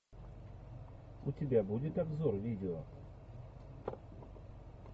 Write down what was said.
у тебя будет обзор видео